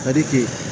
Kadi